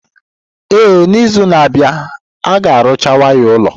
Ee, n'izu na-abịa, a ga-arụcha waya ụlọ.